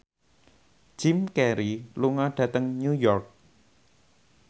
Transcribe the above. Jim Carey lunga dhateng New York